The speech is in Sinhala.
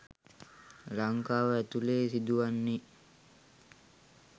ලංකාව ඇතුළේ සිදුවන්නේ.